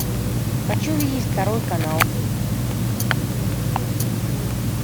хочу видеть второй канал